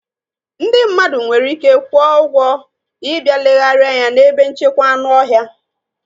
Ndị mmadụ nwere ike kwụọ ụgwọ ị bịa legharia anya n'ebe nchekwa anụ ọhịa.